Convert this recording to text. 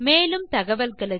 மேலும் தகவல்களுக்கு